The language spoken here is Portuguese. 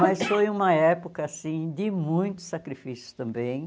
Mas foi uma época assim de muitos sacrifícios também.